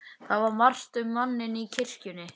Það var margt um manninn í kirkjunni.